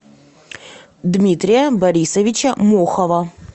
дмитрия борисовича мохова